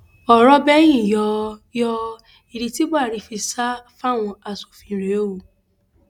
ọrọ bẹyìn yọ yọ ìdí tí buhari fi sá fáwọn asòfin rèé o